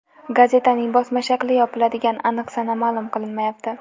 Gazetaning bosma shakli yopiladigan aniq sana ma’lum qilinmayapti.